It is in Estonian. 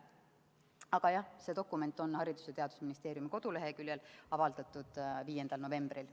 Aga jah, see dokument on Haridus- ja Teadusministeeriumi koduleheküljel avaldatud 5. novembril.